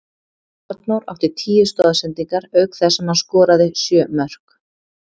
Arnór átti tíu stoðsendingar auk þess sem hann skoraði sjö mörk.